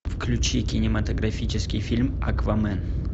включи кинематографический фильм аквамен